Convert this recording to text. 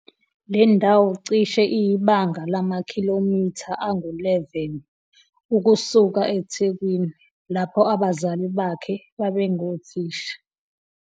le ndawo cishe iyibanga lamakhilomitha angu 11 ukusuka eThekwini, lapho abazali bakhe babengothisha.